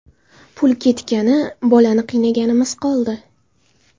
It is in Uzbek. Pul ketgani, bolani qiynaganimiz qoldi.